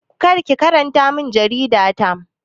Kar ki karanta min jarida ta!